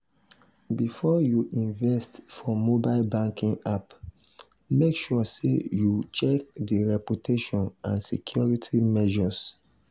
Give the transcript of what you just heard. before you invest for mobile banking app mek sure sey you check di reputation and security measures.